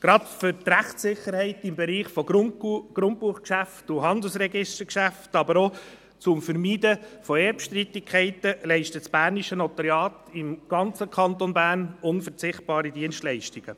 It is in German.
Gerade für die Rechtssicherheit im Bereich der Grundbuchgeschäfte und Handelsregistergeschäfte, aber auch, um Erbstreitigkeiten zu vermeiden, leistet das bernische Notariat im ganzen Kanton Bern unverzichtbare Dienstleistungen.